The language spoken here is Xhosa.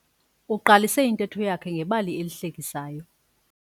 Uqalise intetho yakhe ngebali lesihlekiso.